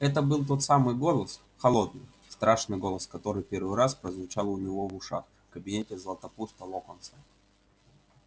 это был тот самый голос холодный страшный голос который первый раз прозвучал у него в ушах в кабинете златопуста локонса